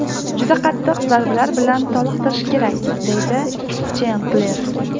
Juda qattiq zarbalar bilan toliqtirish kerak”, deydi Chendler.